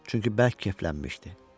Çünki bərk keyflənmişdi.